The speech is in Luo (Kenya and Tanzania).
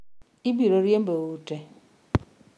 Obiro riembou ute.